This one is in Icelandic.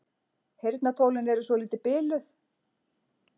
Heyrnartólin eru svolítið biluð.